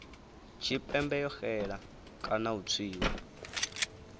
tshipembe yo xela kana u tswiwa